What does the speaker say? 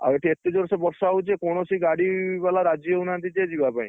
ଆଉ ଏଠି ଏତେ ଜୋରସେ ବର୍ଷା ହଉଛି କୌଣସି ଗାଡି ବାଲା ରାଜି ହଉନାହାନ୍ତି, ଯେ, ଯିବା ପାଇଁ।